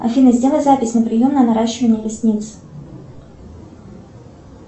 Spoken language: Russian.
афина сделай запись на прием на наращивание ресниц